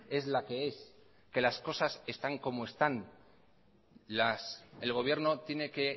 es la que es que las cosas están como están el gobierno tiene que